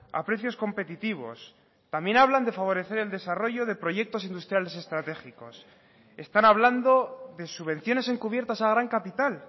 a precios competitivos también hablan de favorecer el desarrollo de proyectos industriales estratégicos están hablando de subvenciones encubiertas a gran capital